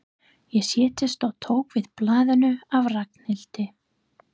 Ég settist og tók við blaðinu af Ragnhildi.